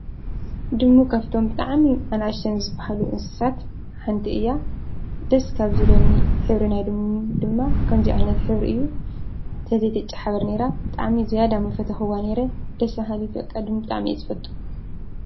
ድሙ ካብቶም ብጣዕሚ ኣናእሽተን ዝበሃሉ እንስሳት ሓንቲ እያ። ደስ ካብ ዝብሉኒ ሕብሪ ናይ ድሙ ድማ ከምዚ ዓይነት ሕብሪ እዪ :ተዘይተጨሓብር ኔራ ብጥዕሚ ዝያዳ ምፈተኩዋ ኔረ። ደስበሃሊት በቃ ድሙ ብጣዕሚ እየ ዝፈቱ ።